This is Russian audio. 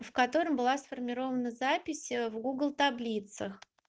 в котором было сформировано запись в гугл таблицах